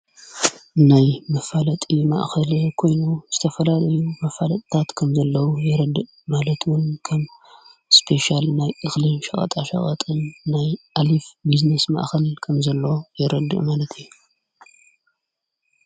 ናይ መፋለጢ ማእኸል ኮይኑ ዝተፈላል እዩ መፋለጥታት ከም ዘለዉ የረድእ ማለትውን ከም እስፔሻያል ናይ እኽሊም ሸዋጣ ሸዋጥን ናይ ኣሊፍ ብዝኔስ ማእኸል ከም ዘለ የረድእ ማለት እዩ።